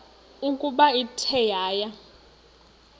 ukuba ithe yaya